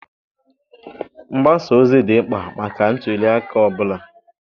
Mgbasa ozi dị mkpa maka ntuli aka ọ bụla.